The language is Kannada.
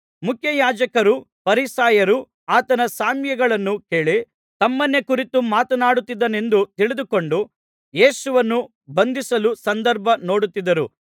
ಮುಖ್ಯಯಾಜಕರೂ ಫರಿಸಾಯರೂ ಆತನ ಸಾಮ್ಯಗಳನ್ನು ಕೇಳಿ ತಮ್ಮನ್ನೇ ಕುರಿತು ಮಾತನಾಡುತ್ತಿದ್ದಾನೆಂದು ತಿಳಿದುಕೊಂಡು ಯೇಸುವನ್ನು ಬಂಧಿಸಲು ಸಂದರ್ಭ ನೋಡುತ್ತಿದ್ದರು